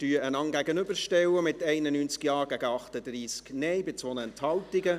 Wir werden die Planungserklärungen einander gegenüberstellen, mit 91 Ja- gegen 38 Nein-Stimmen bei 2 Enthaltungen.